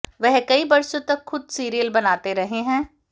वह कई बरसों तक खुद सीरियल बनाते रहे हैं